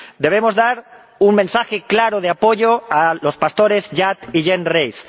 Debemos dar un mensaje claro de apoyo a los pastores Yat y Yen Reith.